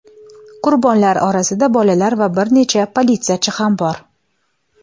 Qurbonlar orasida bolalar va bir necha politsiyachi ham bor.